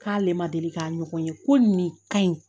K'ale ma deli k'a ɲɔgɔn ye ko nin ka ɲi